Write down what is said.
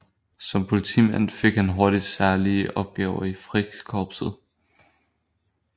Som politimand fik han hurtigt særlige opgaver i Frikorpset